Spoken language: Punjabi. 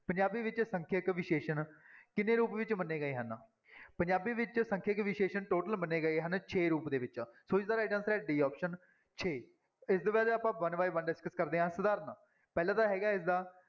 ਪੰਜਾਬੀ ਵਿੱਚ ਸੰਖਿਅਕ ਵਿਸ਼ੇਸ਼ਣ ਕਿੰਨੇ ਰੂਪ ਵਿੱਚ ਮੰਨੇ ਗਏ ਹਨ, ਪੰਜਾਬੀ ਵਿੱਚ ਸੰਖਿਅਕ ਵਿਸ਼ੇਸ਼ਣ total ਮੰਨੇ ਗਏ ਹਨ ਛੇ ਰੂਪ ਦੇ ਵਿੱਚ ਸੌ ਇਸਦਾ right answer ਹੈ d option ਛੇ, ਇਸਦੇ ਬਾਅਦ ਆਪਾਂ one by one discuss ਕਰਦੇ ਹਾਂ, ਸਧਾਰਨ ਪਹਿਲਾਂ ਤਾਂ ਹੈਗਾ ਇਸਦਾ